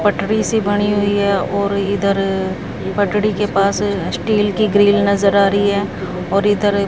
पटरी सी बनी हुई है और इधर पटरी के पास स्टील की ग्रिल नजर आ रही है और इधर--